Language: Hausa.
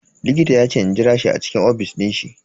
Likita yace in jira shi a ofis din shi.